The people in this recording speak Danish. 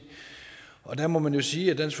og der må man jo sige at